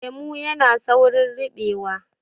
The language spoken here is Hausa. Lemo yana saurin ribewa